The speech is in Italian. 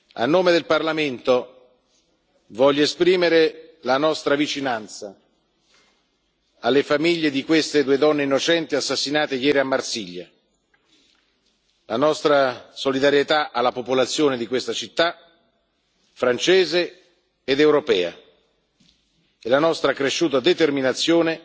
A nome del Parlamento voglio esprimere la nostra vicinanza alle famiglie di queste due donne innocenti assassinate ieri a Marsiglia, la nostra solidarietà alla popolazione di questa città francese ed europea e la nostra accresciuta determinazione